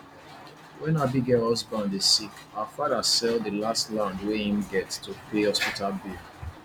when abigail husband dey sick her father sell the last land wey im get to pay hospital bill